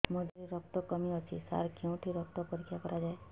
ମୋ ଦିହରେ ରକ୍ତ କମି ଅଛି ସାର କେଉଁଠି ରକ୍ତ ପରୀକ୍ଷା କରାଯାଏ